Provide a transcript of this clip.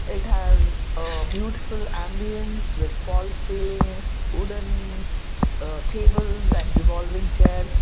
it has a beautiful ambiance with false ceiling wooden uh tables and revolving chairs.